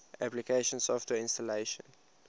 application software installation